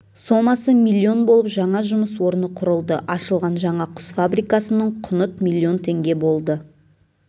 сомасы млн болып жаңа жұмыс орны құрылды ашылған жаңа құс фабрикасының құныт млн теңге болды